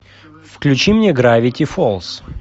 включи мне гравити фолз